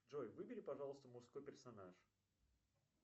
джой выбери пожалуйста мужской персонаж